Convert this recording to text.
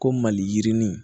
Ko maliyirini